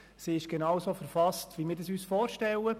Sie ist genauso verfasst, wie wir es uns vorstellen.